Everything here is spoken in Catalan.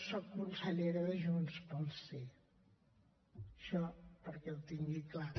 soc consellera de junts pel sí això perquè ho tingui clar